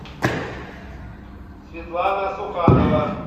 светлана суханова